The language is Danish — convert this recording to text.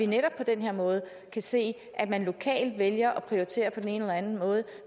netop på den her måde se at man lokalt vælger at prioritere på den ene eller den anden måde